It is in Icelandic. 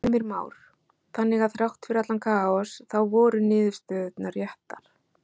Heimir Már: Þannig að þrátt fyrir allan kaos þá voru niðurstöðurnar réttar?